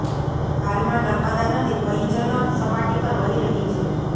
હાલમાં નર્મદા નદી ભયજનક સપાટી પર વહી રહી છે